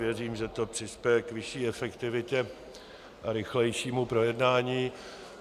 Věřím, že to přispěje k vyšší efektivitě a rychlejšímu projednání.